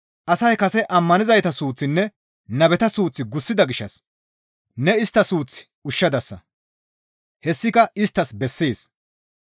Asay kase ammanizayta suuththinne nabeta suuth gussida gishshas ne istta suuth ushshadasa; hessika isttas bessees»